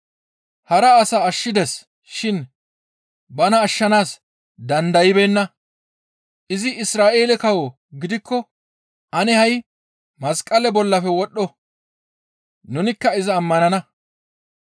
«Hara asaa ashshides shin bana ashshanaas dandaybeenna; izi Isra7eele kawo gidikko ane ha7i masqale bollafe wodhdho; nunikka iza ammanana.